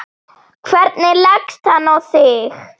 Hvernig leggst hann í þig?